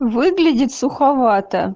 выглядит суховато